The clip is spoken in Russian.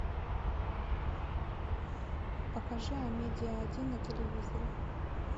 покажи амедиа один на телевизоре